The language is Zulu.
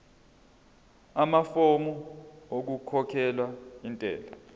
amafomu okukhokhela intela